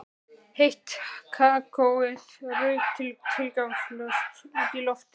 Heitt kakóið rauk tilgangslaust út í loftið.